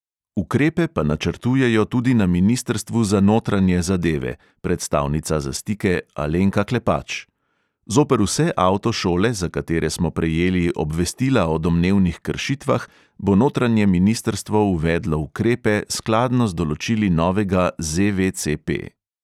Ukrepe pa načrtujejo tudi na ministrstvu za notranje zadeve, predstavnica za stike alenka klepač: "zoper vse avtošole, za katere smo prejeli obvestila o domnevnih kršitvah, bo notranje ministrstvo uvedlo ukrepe skladno z določili novega ZVCP."